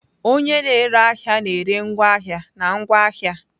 Onye na-ere ahịa na-ere ngwaahịa na ngwa ahịa.